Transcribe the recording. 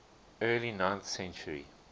early ninth century